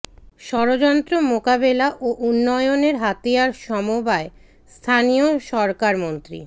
ষড়যন্ত্র মোকাবেলা ও উন্নয়নের হাতিয়ার সমবায় স্থানীয় সরকার মন্ত্রী